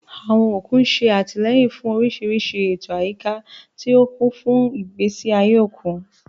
Àwọn òkun ń ṣe àtìlẹ́yìn fún oríṣiríṣi ètò àyíká, tí ó kún fún ìgbésí ayé òkun.